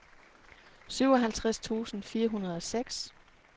syvoghalvtreds tusind fire hundrede og seks